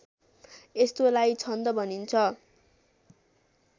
यस्तोलाई छन्द भनिन्छ